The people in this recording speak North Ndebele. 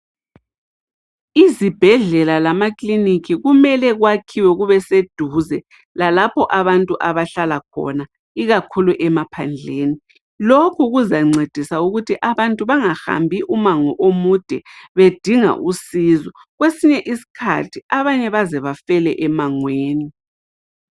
Izibhedlela lamakiliniki kumele kwakhiwe kubeseduze labantu abahlala khona ikakhulu emaphandleni. Lokhu kuzancedisa ukuthi abantu bangahambi umango omude bedinga usizo. Kwesinye isikhathi abanye baze bafike emangweni.